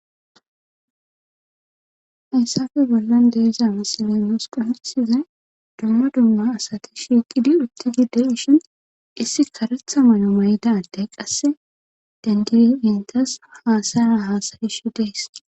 hayssafe bollan deeza masilonios quhsizay domma dumma asati shiiqidi utti gidde ishin issi karetha mayo mayda addey qasse dandili intas haasaya haasayish dees